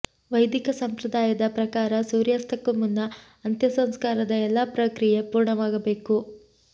ವೈದಿಕ ಸಂಪ್ರದಾಯದ ಪ್ರಕಾರ ಸೂರ್ಯಾಸ್ತಕ್ಕೂ ಮುನ್ನ ಅಂತ್ಯಸಂಸ್ಕಾರದ ಎಲ್ಲಾ ಪ್ರಕ್ರಿಯೆ ಪೂರ್ಣವಾಗಬೇಕು